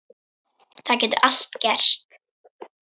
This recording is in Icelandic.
Það getur allt gerst.